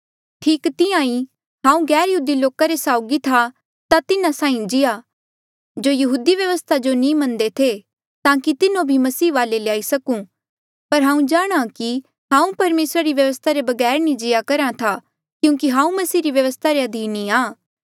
ठीक तिहां ही हांऊँ गैरयहूदी लोका रे साउगी था ता तिन्हा साहीं जियां जो यहूदी व्यवस्था जो नी मनदे थे ताकि तिन्हो भी मसीह वाले ल्याई सकूं पर हांऊँ जाणहां कि हांऊँ परमेसरा री व्यवस्था रे बगैर नी जिया करहा था क्यूंकि हांऊँ मसीह री व्यवस्था रे अधीन ही आ